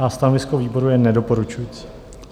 A stanovisko výboru je nedoporučující.